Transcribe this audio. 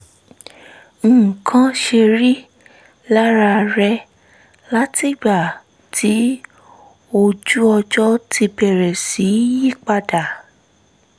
nǹkan ṣe rí lára rẹ̀ látìgbà tí ojú-ọjọ́ ti bẹ̀rẹ̀ sí yí padà